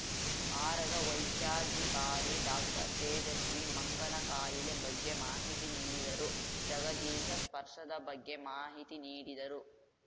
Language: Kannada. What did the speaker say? ಆರಗ ವೈದ್ಯಾಧಿಕಾರಿ ಡಾಕ್ಟರ್ತೇಜಸ್ವಿ ಮಂಗನ ಕಾಯಿಲೆ ಬಗ್ಗೆ ಮಾಹಿತಿ ನೀಡಿದರು ಜಗದೀಶ ಸ್ಪರ್ಶದ ಬಗ್ಗೆ ಮಾಹಿತಿ ನೀಡಿದರು